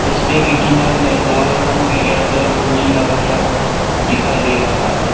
रास्ते के किनारे में लाल रंग में एयरटेल फोर जी लगाया हुआ दिखाई दे रहा है।